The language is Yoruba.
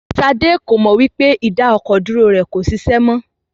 Ṣadé kò mọ wí pé ìdá-ọkọ̀-dúró rẹ kò ṣiṣẹ́ mọ.